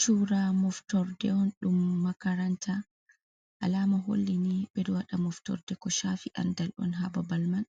Cura moftorde on dum makaranta, alama holli ni ɓe ɗo waɗa moftorde ko chafi andal on ha babal man,